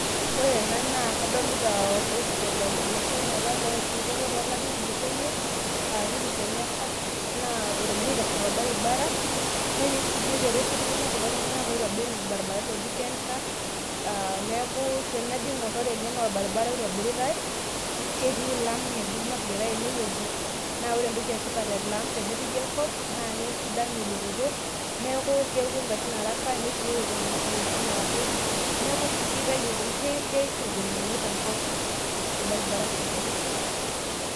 ore ena naa kadolita orpredident le Kenya otupukuo apa tolarin otulusoyie aa Uhuru Kenyatta naa egira aitasho torbaribara. neboitare kulo tunganak oitobir irbarabarani oji KenHa aa teneku tenaijo aingor naa ore ele naa orbaribara oitobiritae ,ketii laam ngejuk napikitae ene wueji naa ore entoki etipat tenepiki enkop naa kesidanu elototo neaku kepuo ngarin araka nesioyo iltunganak iwuejitin naapuo neku si keita keishu ngolikinot tenkop orbaribara sidai.